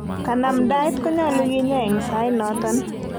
Kanamdaet konyolu kinyaa en sainoton.